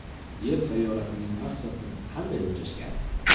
Yer sayyorasining massasini qanday o‘lchashgan?.